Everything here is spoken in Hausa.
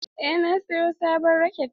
Eh na siyo sabon raket.